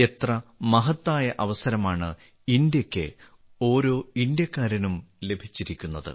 എത്ര മഹത്തായ അവസരമാണ് ഇന്ത്യയ്ക്ക് ഓരോ ഇന്ത്യക്കാരനും ലഭിച്ചിരിക്കുന്നത്